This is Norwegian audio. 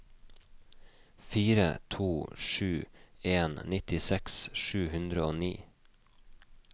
fire to sju en nittiseks sju hundre og ni